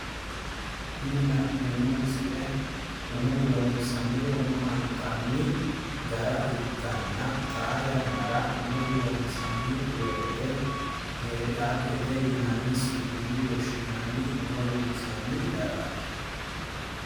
Tini la'neemmo misile umo loonsanni woyi hanxanni gara ikkanna, xaa yannara umo loonsanni woyyite peedaappete yinanni su'minni woshshinanni umo loonsanni garaati.